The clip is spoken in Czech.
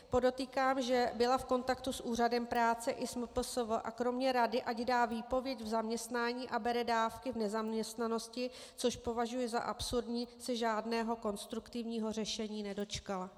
Podotýkám, že byla v kontaktu s úřadem práce i s MPSV a kromě rady, ať dá výpověď v zaměstnání a bere dávky v nezaměstnanosti, což považuji za absurdní, se žádného konstruktivního řešení nedočkala.